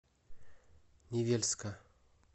невельска